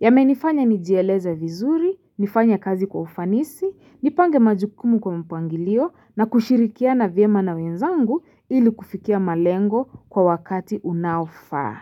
yamenifanya nijieleze vizuri, nifanya kazi kwa ufanisi, nipange majukumu kwa mpangilio na kushirikiana vyema na wenzangu ili kufikia malengo kwa wakati unaofaa.